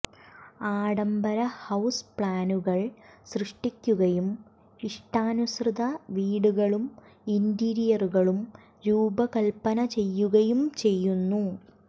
ആഡംബര ഹൌസ് പ്ലാനുകൾ സൃഷ്ടിക്കുകയും ഇഷ്ടാനുസൃത വീടുകളും ഇന്റീരിയറുകളും രൂപകൽപ്പന ചെയ്യുകയും ചെയ്യുന്നു